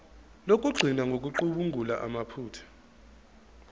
lokugcina ngokucubungula amaphutha